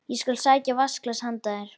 Ég skal sækja vatnsglas handa þér